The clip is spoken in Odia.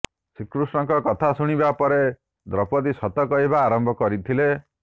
ଶ୍ରୀକୃଷ୍ଣଙ୍କ କଥା ଶୁଣିବା ପରେ ଦ୍ରୌପଦୀ ସତ କହିବା ଆରମ୍ଭ କରିଥିଲେ